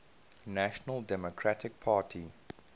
national democratic party